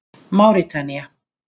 Máritanía